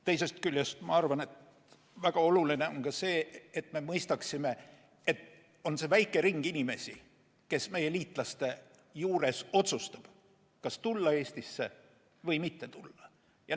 Teisest küljest on väga oluline ka mõista, et on väike ring inimesi, kes meie liitlaste juures otsustab, kas tulla Eestisse või mitte tulla.